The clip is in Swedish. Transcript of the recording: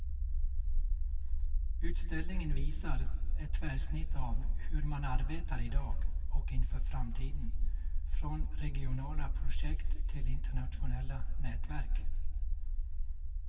Utställningen visar ett tvärsnitt av hur man arbetar i dag och inför framtiden, från regionala projekt till internationella nätverk.